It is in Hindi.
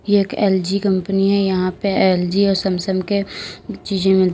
एक एल_जी कंपनी है यहां पे एल_जी और सैमसंग के चिजे मिल--